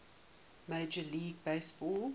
major league baseball